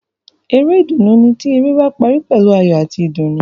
Eré ìdùnnú ni ti eré ba parí pẹ̀lú ayọ̀ ati ìdùnnú.